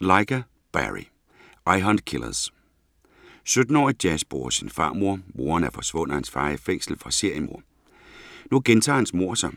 Lyga, Barry: I hunt killers 17-årige Jazz bor hos sin farmor. Moren er forsvundet og hans far er i fængsel for seriemord. Nu gentager hans mord sig.